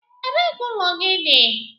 Ebee ka ụlọ gị dị?